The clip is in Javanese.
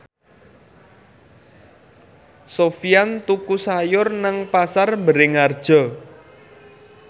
Sofyan tuku sayur nang Pasar Bringharjo